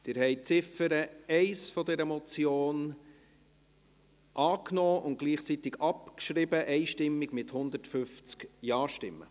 Sie haben die Ziffer 1 der Motion einstimmig angenommen und gleichzeitig abgeschrieben, mit 150 Ja-Stimmen.